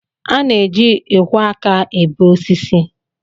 A na-eji ịkwọ aka ebe osisi